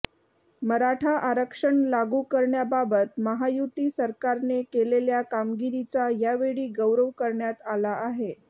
मराठा आरक्षण लागू करण्याबाबत महायुती सरकारने केलेल्या कामगिरीचा यावेळी गौरव करण्यात आला